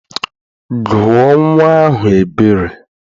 Gụọ nnwa ahụ Ebere!